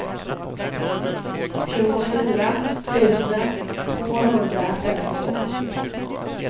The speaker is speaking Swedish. tjugofyra tusen tvåhundrafemtiotvå